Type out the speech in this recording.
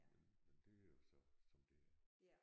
Men men det er jo så som det er